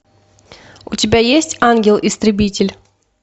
у тебя есть ангел истребитель